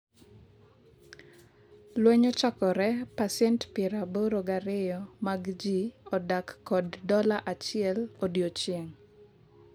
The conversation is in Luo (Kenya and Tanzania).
lweny ochakore pasent piero aboro gi ariyo mag jii odak kod dola achiel odiochieng'